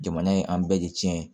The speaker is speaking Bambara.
Jamana ye an bɛɛ de tiɲɛ ye